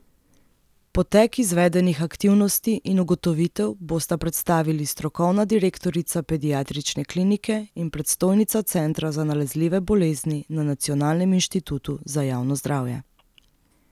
Potek izvedenih aktivnosti in ugotovitev bosta predstavili strokovna direktorica pediatrične klinike in predstojnica centra za nalezljive bolezni na Nacionalnem inštitutu za javno zdravje.